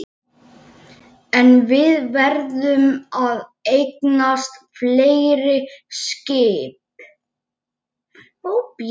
En við verðum að eignast fleiri skip